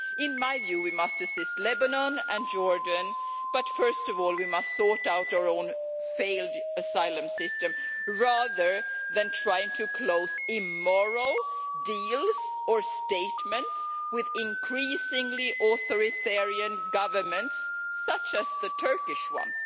In my view, while we must assist Lebanon and Jordan, we must first of all sort out our own failed asylum system rather than trying to close immoral deals or statements with increasingly authoritarian governments such as the Turkish one.